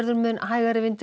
mun hægari vindur